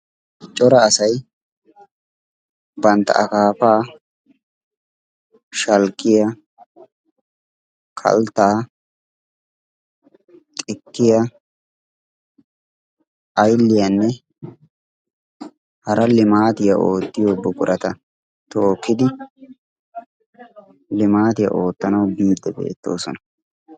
cora asay bantta akaafaa, shalkkiya, kalttaa, xikkiya, aylliyaanne hara limaatiyaa oottiyo buqurata tookkidi limaatiyaa oottanawu biiddi beettoosona.